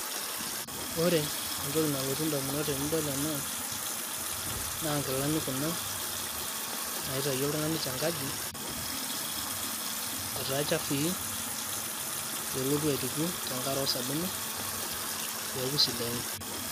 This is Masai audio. Ore entoki nalotu indamunot tenidol ena, naa nkilani kuna naitayio oltung'ani tenkaji, etaa chafui pelotu aituku tenkare osabuni, peeku sidain.